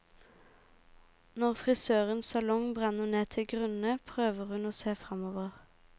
Når frisørens salong brenner ned til grunnen prøver hun å se fremover.